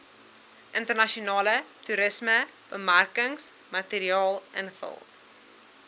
internasionale toerismebemarkingsmateriaal invul